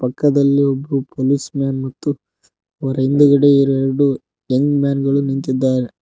ಪಕ್ಕದಲಿ ಒಬ್ರು policeman ಮತ್ತು ಅವರ ಹಿಂದುಗಡೆ ಎರಡು ಯಂಗ್ ಮ್ಯಾನ್ ಗಳು ನಿಂತಿದ್ದಾರೆ.